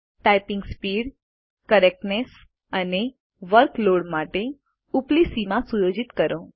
typing speed correctness અને workload માટે ઉપલી સીમા સુયોજિત કરો